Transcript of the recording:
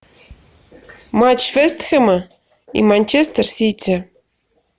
матч вест хэма и манчестер сити